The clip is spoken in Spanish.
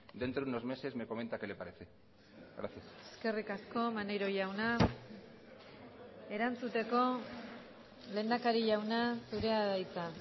dentro de unos meses me comenta qué le parece gracias eskerrik asko maneiro jauna erantzuteko lehendakari jauna zurea da hitza